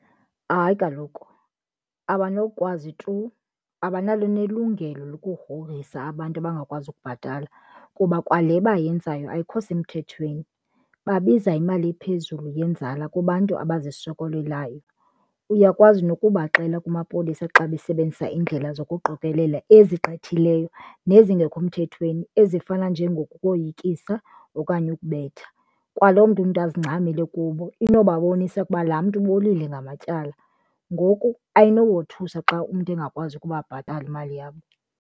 Hayi kaloku, abanokwazi tu, abanalo nelungelo lokugrogrisa abantu abangakwazi ukubhatala kuba kwale bayenzayo ayikho semthethweni. Babiza imali ephezulu yenzala kubantu abazisokolelayo. Uyakwazi nokubaxela kumapolisa xa besebenzisa indlela zokuqokelela ezigqithileyo nezingekho mthethweni ezifana njengokoyikisa okanye ukubetha. Kwaloo nto umntu azincamele kubo inobabonisa ukuba laa mntu ubolile ngamatyala ngoku ayinobothusa xa umntu engakwazi ukubabhatala imali yabo.